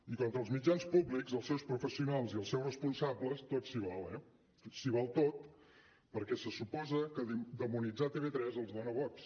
i contra els mitjans públics els seus professionals i els seus responsables tot s’hi val eh s’hi val tot perquè se suposa que demonitzar tv3 els dona vots